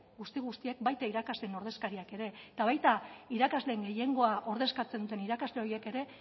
guzti guztiek baita irakasleen ordezkariak ere eta baita irakasleen gehiengoa ordezkatzen duten irakasle horiek ere